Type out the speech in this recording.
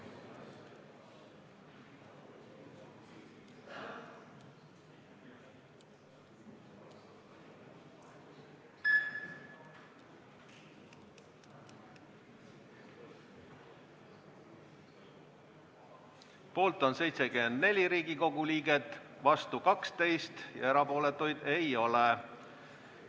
Hääletustulemused Poolt on 74 Riigikogu liiget, vastuolijaid 12, erapooletuid ei ole.